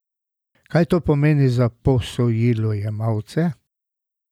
Kaj to pomeni za posojilojemalce?